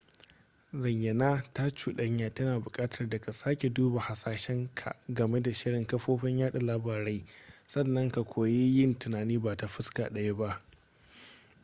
zayyana ta cuɗanya tana buƙatar da ka sake duba hasashen ka game da shirin kafofin yada labarai sannan ka koyi yin tunani ba ta fuska ɗaya ba